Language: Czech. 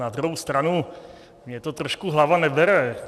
Na druhou stranu mně to trošku hlava nebere.